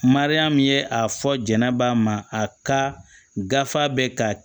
Mariyamu ye a fɔ jɛnɛba ma a ka gafe bɛ ka